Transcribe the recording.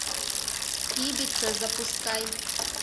ибица запускай